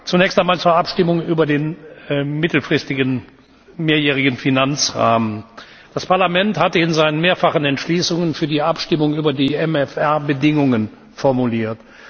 Zunächst einmal zur Abstimmung über den mittelfristigen mehrjährigen Finanzrahmen Das Parlament hatte in seinen mehrfachen Entschließungen zur Abstimmung über den MFR Bedingungen formuliert.